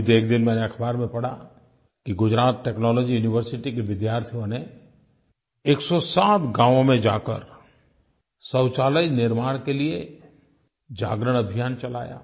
अभी एक दिन मैंने अख़बार में पढ़ा कि गुजरात टेक्नोलॉजी यूनिवर्सिटी के विद्यार्थियों ने 107 गाँवों में जाकर शौचालय निर्माण के लिये जागरण अभियान चलाया